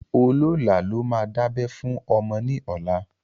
Olólà ló máa dábẹ́ fún ọmọ ní ọlá